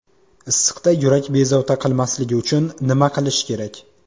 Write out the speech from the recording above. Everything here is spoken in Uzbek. Issiqda yurak bezovta qilmasligi uchun nima qilish kerak?